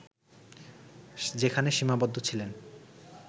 যেখানে সীমাবদ্ধ ছিলেন